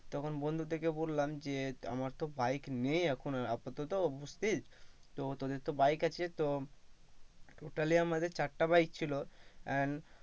তখন বন্ধুদেরকে বললাম যে আমার bike নেই এখন আপাতত বুজছিস তো তোদের তো bike আছে তো totally আমাদের চারটা bike ছিল and.